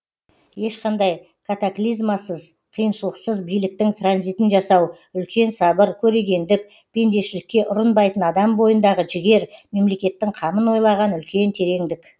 ешқандай катаклизмасыз қиыншылықсыз биліктің транзитін жасау үлкен сабыр көрегендік пендешілікке ұрынбайтын адам бойындағы жігер мемлекеттің қамын ойлаған үлкен тереңдік